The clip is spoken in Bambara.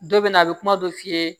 Dɔ bɛ na a bɛ kuma dɔ f'i ye